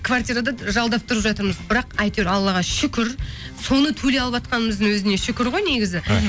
квартирада жалдап тұрып жатырмыз бірақ әйтеуір аллаға шүкір соны төлей алыватқанымыздың өзіне шүкір ғой негізі мхм